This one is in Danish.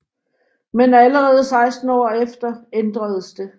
Men allerede 16 år efter ændredes det